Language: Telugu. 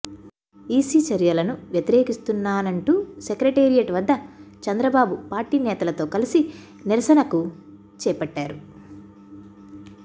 ఈసీ చర్యలను వ్యతిరేకిస్తూన్నానంటూ సెక్రటేరియట్ వద్ద చంద్రబాబు పార్టీ నేతలతో కలిసి నిరసనకు చేపట్టారు